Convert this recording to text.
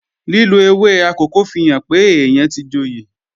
Lílo ewé akòko fihàn pé èèyàn tí joyè